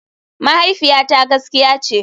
Mahaifiyata gaskiya ce.